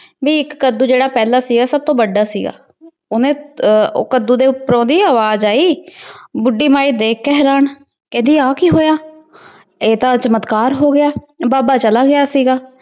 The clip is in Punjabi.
ਵੀ ਇੱਕ ਕੱਦੂ ਜਿਹੜਾ ਪਹਿਲਾ ਸੀਗਾ, ਸਭ ਤੋਂ ਵੱਡਾ ਸੀਗਾ। ਉਹਨੇ ਅਹ ਕੱਦੂ ਦੇ ਉੱਪਰੋਂ ਦੀ ਅਵਾਜ ਆਈ। ਅਹ ਬੁੱਢੀ ਮਾਈ ਦੇਖ ਕੇ ਹੈਰਾਨ। ਕਹਿੰਦੀ ਆਹ ਕੀ ਹੋਇਆ? ਅਹ ਇਹ ਤਾਂ ਚਮਤਕਾਰ ਹੋ ਗਿਆ। ਬਾਬਾ ਚਲਾ ਗਿਆ ਸੀਗਾ।